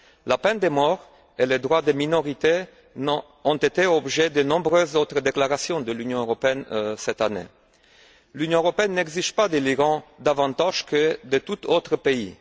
La peine de mort et les droits des minorités ont fait l'objet de nombreuses autres déclarations de l'Union européenne cette année. L'Union européenne n'exige pas de l'Iran davantage que de tout autre pays.